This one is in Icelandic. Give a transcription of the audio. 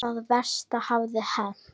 Það versta hafði hent.